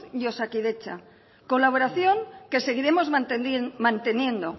y osakidetza colaboración que seguiremos manteniendo